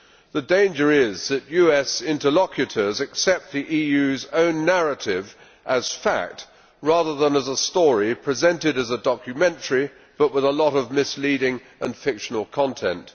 The danger is that US interlocutors accept the EU's own narrative as fact, rather than as a story presented as a documentary but with a lot of misleading and fictional content.